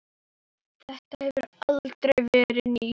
Þetta hefur aldrei verið nýtt.